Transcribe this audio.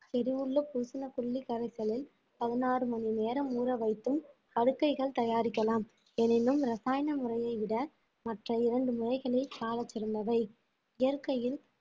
சிறுவுள்ள பூசன புள்ளி கரைசலில் பதினாறு மணி நேரம் ஊற வைத்தும் படுக்கைகள் தயாரிக்கலாம் எனினும் ரசாயன முறைய விட மற்ற இரண்டு முறைகளே சால சிறந்தவை இயற்கையில்